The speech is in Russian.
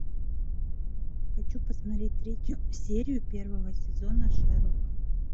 хочу посмотреть третью серию первого сезона шерлок